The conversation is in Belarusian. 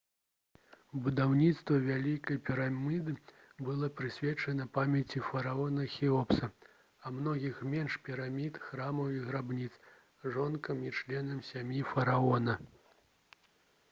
будаўніцтва вялікай піраміды было прысвечана памяці фараона хеопса а многіх меншых пірамід храмаў і грабніц жонкам і членам сям'і фараона